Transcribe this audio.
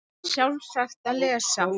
Það er sjálfsagt að lesa